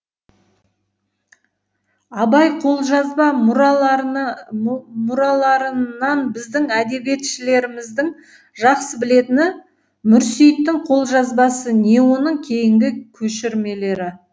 абай қолжазба мұраларынан біздің әдебиетшілеріміздің жақсы білетіні мүрсейіттің қолжазбасы не оның кейінгі көшірмелері